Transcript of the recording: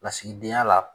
Lasigidenya la